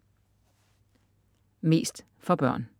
Mest for børn